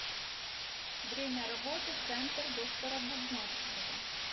время работы центр доктора бубновского